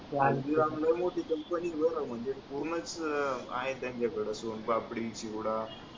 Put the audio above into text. ती हल्दीराम लई मोठी company आहे म्हणजे पूर्णच आहे त्याच्याकडे सोनपापडी चिवडा